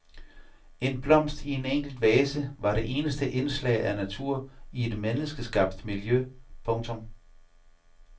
En blomst i en enkel vase var det eneste indslag af natur i et menneskeskabt miljø. punktum